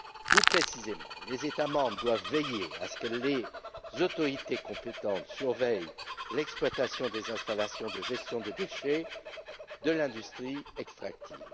Plus précisément, les États membres doivent veiller à ce que les autorités compétentes surveillent l'exploitation des installations de gestion des déchets de l'industrie extractive.